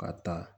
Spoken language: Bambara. Ka taa